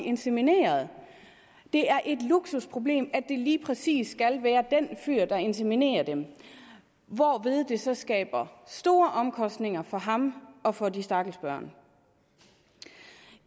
insemineret det er et luksusproblem at det lige præcis skal være den fyr der inseminerer dem hvorved det så skaber store omkostninger for ham og for de stakkels børn